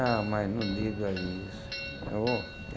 Ah, mas não diga isso.